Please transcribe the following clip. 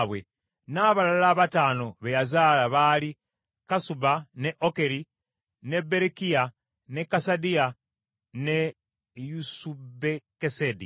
N’abalala abataano be yazaala baali Kasuba, ne Okeri, ne Berekiya, ne Kasadiya ne Yusubukesedi.